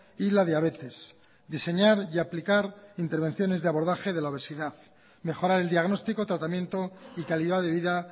y la diabetes diseñar y aplicar intervenciones de abordaje de la obesidad mejorar el diagnóstico tratamiento y calidad de vida